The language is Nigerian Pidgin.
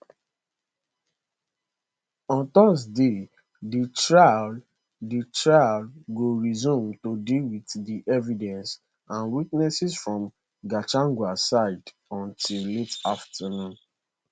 on thursday di trial di trial go resume to deal with di evidence and witnesses from gachagua side until late afternoon